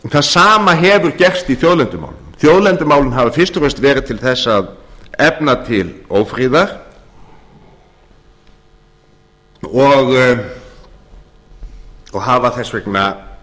það sama hefur gerst í þjóðlendumálunum þjóðlendumálin hafa fyrst og fremst verið til þess að efna til ófriðar og hafa þess vegna